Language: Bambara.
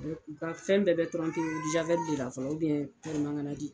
fɛn bɛɛ bɛ la fɔlɔ .